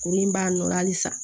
Kuru in b'a nɔ na halisa